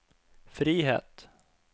frihet